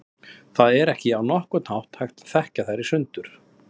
Það er ekki á nokkurn hátt hægt að þekkja þær í sundur.